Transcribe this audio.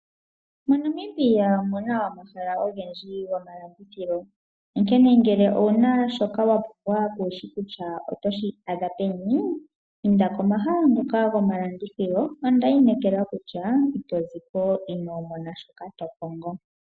MoNamibia omuna omahala ogendji gomalandithilo. Onkene ngele owuna shoka wapumbwa kuushi kutya otoshi adha peni inda komahala ngoka gomalandithilo itoziko ino mona shoka tokongo.